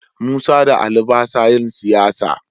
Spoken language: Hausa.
Musa da Ali ba sa yin siyasa.